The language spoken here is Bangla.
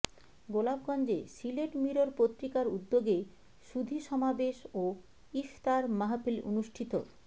গোলাপগঞ্জে সিলেট মিরর পত্রিকার উদ্যোগে সুধী সমাবেশ ও ইফতার মাহফিল অনুষ্ঠিত